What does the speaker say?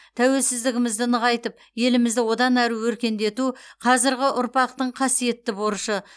тәуелсіздігімізді нығайтып елімізді одан ары өркендету қазіргі ұрпақтың қасиетті борышы